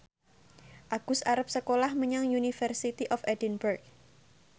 Agus arep sekolah menyang University of Edinburgh